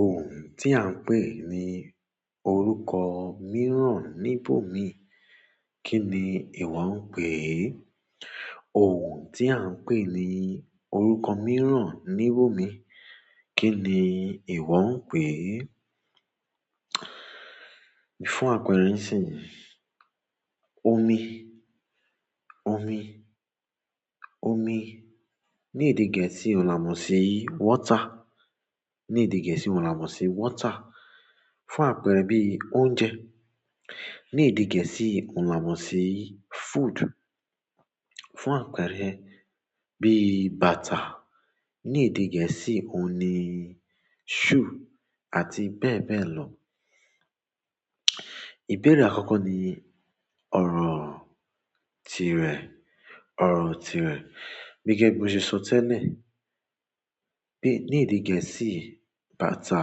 Ohun tí à ń pè ní orúkọ mìíràn níbò mi, kí ni ìwọ ń pè é? Ohun tí à ń pè ní orúkọ mìíràn níbò mi, kí ni ìwọ ń pè é? Fún àpẹrẹ síi, omi, omi, omi ní èdè Gẹ̀ẹ́sì òún là mọ̀ sí water. Ní èdè Gẹ̀ẹ́sì òún là mọ̀ sí water. Fún àpẹẹrẹ bí i oúnjẹ ní èdè Gẹ̀ẹ́sì òún là mọ̀ sí food. Fún àpẹrẹ bíi bàtà ní èdè Gẹ̀ẹ́sì òun ní shoe àti bẹ́ẹ̀ bẹ́ẹ̀ lọ. Ìbéèrè àkọ́kọ́ ní ọ̀rọ̀ tí rẹ̀, ọ̀rọ̀ tí rẹ̀. Bí i gẹ́gẹ́ bí mo ṣe sọ tẹ́lẹ̀, bí i ní èdè Gẹ̀ẹ́sì bàtà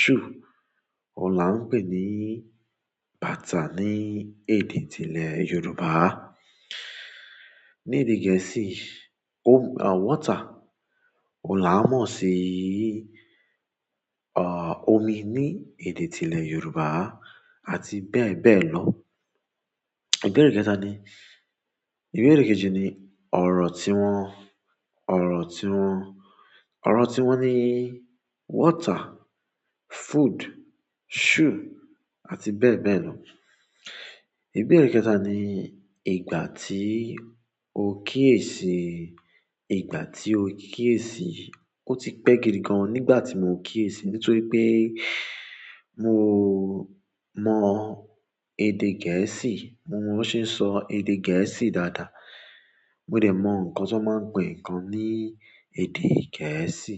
shoe. Ò là ń pè ní bàtà ní èdè tilẹ̀ Yorùbá. Ní èdè Gẹ̀ẹ́sì water ò láwọn mọ̀ sí omi ní èdè ìpínlẹ̀ Yorùbá àti bẹ́ẹ̀ bẹ́ẹ̀ lọ. Ìbéèrè kẹta ni, ìbéèrè kejì ni ọ̀rọ̀ tí wọ́n, ọ̀rọ̀ tí wọ́n, ọ̀rọ̀ tí wọ́n ní water, food, shoe àti bẹ́ẹ̀ bẹ́ẹ̀ lọ. Ìbéèrè kẹta ni ìgbà tí o kíyèsi, ìgbà tí o kíyèsi. Ó ti pẹ́ gidi gan nígbà tí mo kíyèsi nítorí pé mo mọ èdè Gẹ̀ẹ́sì, mo mọ wọ́n ṣe ń sọ èdè Gẹ̀ẹ́sì dáadáa. Mo dẹ̀ mọ nkan tán ma n pe nkan ni èdè gẹ̀ẹ́sì.